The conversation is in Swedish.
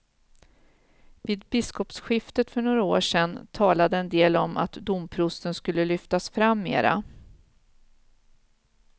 Vid biskopsskiftet för några år sedan talade en del om att domprosten skulle lyftas fram mera.